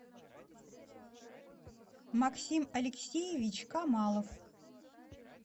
максим алексеевич камалов